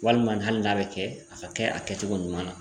Walima hali n'a bɛ kɛ a ka kɛ a kɛcogo ɲuman na